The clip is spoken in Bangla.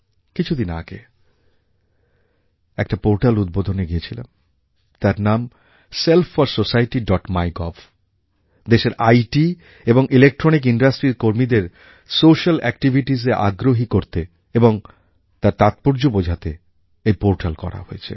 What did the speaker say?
কিছুদিন আগে একটা পোর্টাল উদ্বোধনএ গেছিলাম তার নাম self for society dot MyGov দেশের আইটি এবং ইলেকট্রনিক ইন্ডাস্ট্রির কর্মীদের সোস্যাল এক্টিভিটিসে আগ্রহী করতে এবং তার তাৎপর্য বোঝাতে এই পোর্টাল করা হয়েছে